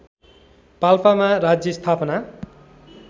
पाल्पामा राज्य स्थापना